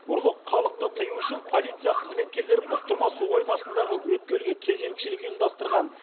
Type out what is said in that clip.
ұрлық халықты тыю үшін полиция қызметкерлері бұқтырма су қоймасындағы өткелге кезекшілік ұйымдастырған